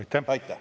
Aitäh!